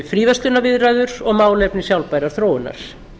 fríverslunarviðræður og málefni sjálfbærrar þróunar